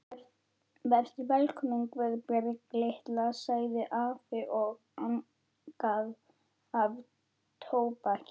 Vertu velkomin Guðbjörg litla, sagði afi og angaði af tóbaki.